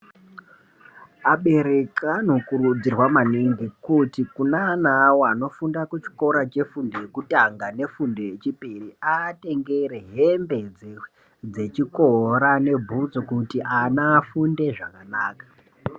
Abereki anokurudzirwa maningi kuti kune ana awo anofunda kuchikora chefundo yekutanga nefundo yechipiri aatengere hembe dzechikora nebhutsu kuti ana afunde zvakanaka.